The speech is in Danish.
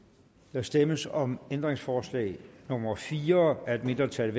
der stemmes om ændringsforslag nummer fire af et mindretal